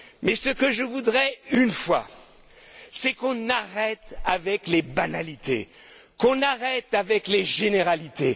Mais ce que je voudrais une fois, c'est qu'on arrête avec les banalités, qu'on arrête avec les généralités.